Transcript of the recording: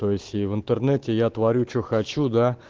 то есть в интернете я творю что хочу да